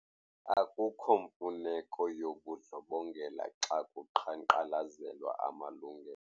Akukho mfuneko yobundlobongela xa kuqhankqalazelwa amalungelo.